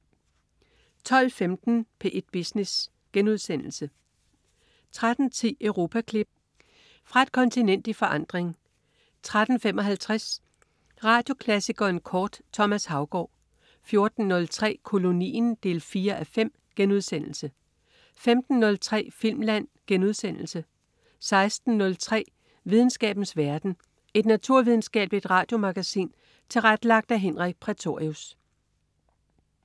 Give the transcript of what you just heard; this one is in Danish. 12.15 P1 Business* 13.10 Europaklip. Fra et kontinent i forandring 13.55 Radioklassikeren kort. Thomas Haugaard 14.03 Kolonien 4:5* 15.03 Filmland* 16.03 Videnskabens verden. Et naturvidenskabeligt radiomagasin tilrettelagt af Henrik Prætorius